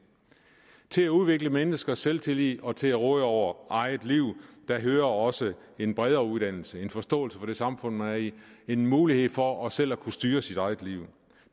til at udvikle menneskers selvtillid og til at råde over eget liv hører også en bredere uddannelse nemlig en forståelse for det samfund man er i en mulighed for selv at kunne styre sit eget liv